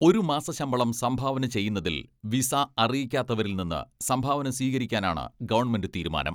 ഒരു മാസശമ്പളം സംഭാവന ചെയ്യുന്നതിൽ വിസ അറിയിക്കാത്തവരിൽ നിന്ന് സംഭാവന സ്വീകരിക്കാനാണ് ഗവൺമെന്റ് തീരുമാനം.